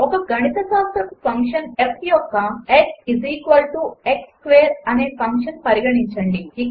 ఒక గణితశాస్త్రపు function f యొక్క x x స్క్వేర్ అనే ఫంక్షన్ పరిగణించండి